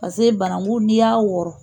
Paseke banankun n'i y'a wɔɔrɔ